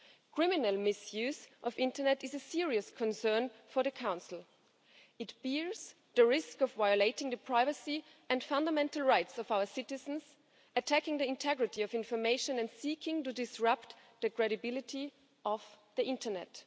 Criminal misuse of the internet is a serious concern for the Council. It bears the risk of violating the privacy and fundamental rights of our citizens, attacking the integrity of information and seeking to disrupt the credibility of the internet.